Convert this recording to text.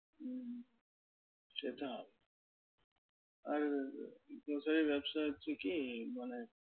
উহ সেটা আর grocery র ব্যবসা হচ্ছে কি মানে